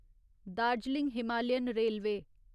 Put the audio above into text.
Darjeeling Himalayan railway